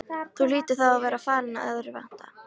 Þú hlýtur þá að vera farin að örvænta!